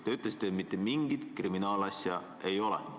Te ütlesite, et mitte mingit kriminaalasja ei ole.